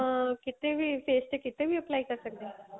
ਅਹ ਕੀਤੇ ਵੀ face ਤੇ ਕੀਤੇ ਵੀ apply ਕਰ ਸਕਦੇ ਆ